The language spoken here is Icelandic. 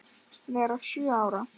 vera sjö ár!